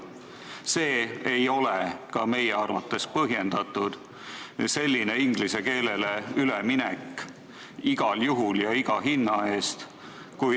Meie arvates ei ole see põhjendatud, selline inglise keelele üleminek igal juhul ja iga hinna eest.